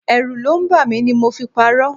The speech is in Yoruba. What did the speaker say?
Ẹrù ló ń bà mí ni mo fi parọ.